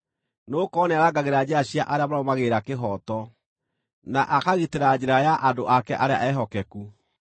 nĩgũkorwo nĩarangagĩra njĩra cia arĩa marũmagĩrĩra kĩhooto, na akagitĩra njĩra ya andũ ake arĩa ehokeku.